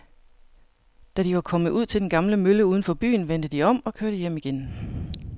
Da de var kommet ud til den gamle mølle uden for byen, vendte de om og kørte hjem igen.